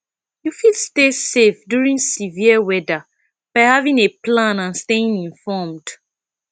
you fit stay safe during severe weather by having a plan and staying informed